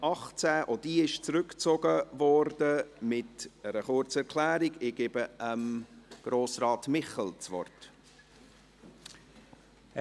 Auch diese Motion wird mit einer kurzen Erklärung zurückgezogen.